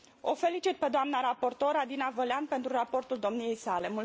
O felicit pe doamna raportor Adina Vălean pentru raportul domniei sale.